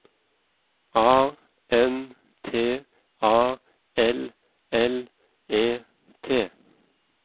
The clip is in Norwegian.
A N T A L L E T